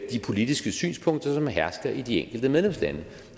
politiske synspunkter som hersker i de enkelte medlemslande